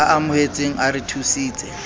a amohetseng a re thusitse